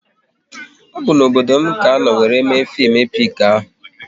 Ọ bụ n'obodo m ka anọ wéré mee fim epik ahụ